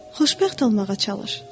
Xoşbəxt olmağa çalış.”